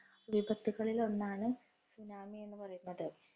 വിപത്തുക്കളില്‍ ഒന്നാണ് tsunami എന്ന് പറയുന്നത്.